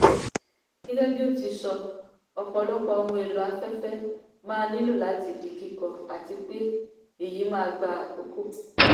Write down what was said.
gẹ́gẹ́ bí ó ti sọ ọ̀pọ̀lọpọ̀ ohun èlò afẹ́fẹ́ máa nílò láti di kíkọ́ àti pé èyí máa gba àkókò.